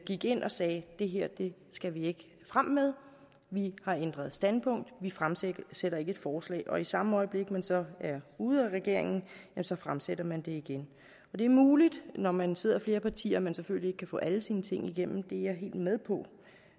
gik ind og sagde det her skal vi ikke frem med vi har ændret standpunkt vi fremsætter ikke et forslag og i samme øjeblik man så er ude af regeringen så fremsætter man det igen det er muligt når man sidder flere partier at man selvfølgelig ikke kan få alle sine ting igennem det er jeg helt med på